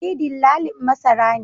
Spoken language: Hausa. Ni dillalin masara ne